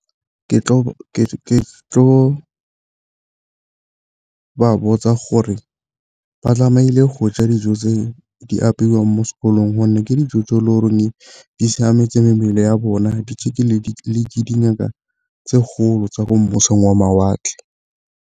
Ke tlo ba botsa gore ba tlameile go ja dijo tse di apeiwang mo sekolong gonne ke dijo tseo e di siametse mebele ya bona ditšhekilwe le ke dingaka tse kgolo tsa ko wa mawatle.